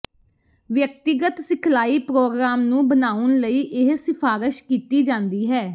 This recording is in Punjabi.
ਵਿਅਕਤੀਗਤ ਸਿਖਲਾਈ ਪ੍ਰੋਗਰਾਮ ਨੂੰ ਬਣਾਉਣ ਲਈ ਇਹ ਸਿਫਾਰਸ਼ ਕੀਤੀ ਜਾਂਦੀ ਹੈ